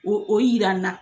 O o yira an na.